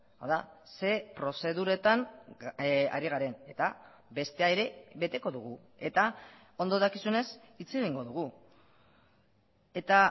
hau da ze prozeduretan ari garen eta bestea ere beteko dugu eta ondo dakizunez hitz egingo dugu eta